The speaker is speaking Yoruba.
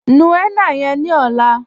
Nú henna yẹ̀n ní ọ̀là